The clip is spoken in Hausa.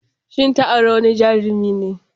Shin ta auri wani Jarumi ne?